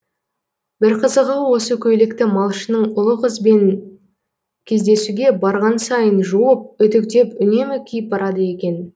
бір қызығы осы көйлекті малшының ұлы қызбен кездесуге барған сайын жуып үтіктеп үнемі киіп барады екен